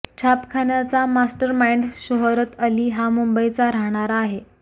छापखान्याचा mastermind Shohrat Ali हा मुंबईचा राहणारा आहे